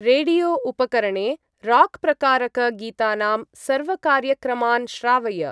रेडियो-उपकरणे राक्प्रकारक-गीतानां सर्वकार्यक्रमान् श्रावय।